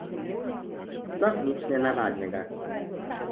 Sploh nič nenavadnega.